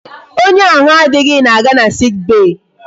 Onye ahụ adịghị na-aga na sick bay.